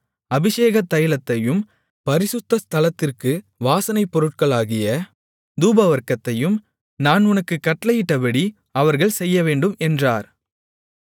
அபிஷேக தைலத்தையும் பரிசுத்த ஸ்தலத்திற்கு வாசனைப்பொருட்களாகிய தூபவர்க்கத்தையும் நான் உனக்குக் கட்டளையிட்டபடி அவர்கள் செய்யவேண்டும் என்றார்